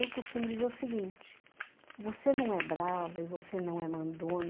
Eu costumo dizer o seguinte, você não é brava e você não é